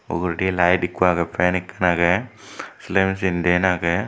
uguredi light ekku agey fan ekkan agey siliy machine din agey.